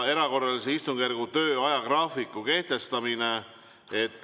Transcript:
Erakorralise istungjärgu töö ajagraafiku kehtestamine.